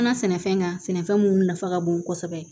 An ka sɛnɛfɛn kan sɛnɛfɛn mun nafa ka bon kosɛbɛ